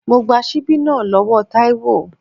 Mo gba síbí náà lọ́wọ́ Taiwo.